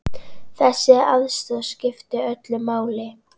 Þessi aðstoð skiptir öllu máli.